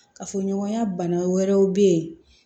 Kafoɲɔgɔnya bana wɛrɛw bɛ yen